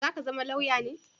Za ka zama lauya ne?